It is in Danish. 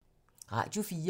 Radio 4